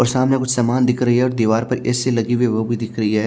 और सामने कुछ समान दिख रही है और दीवार पर ए_सी लगी हुई है वो भी दिख रही है।